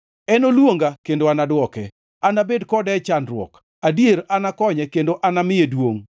Enoluonga, kendo anadwoke; anabed kode e chandruok, adier, anakonye kendo anamiye duongʼ.